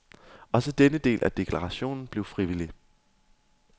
Også denne del af deklarationen blev frivillig.